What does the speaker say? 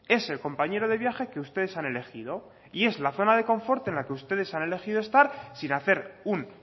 es el compañero de viaje que ustedes han elegido y es la zona de confort en la que ustedes han elegido estar sin hacer un